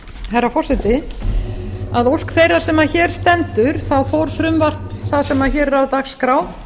herra forseti að ósk þeirrar sem hér stendur fór frumvarp það sem hér er á dagskrá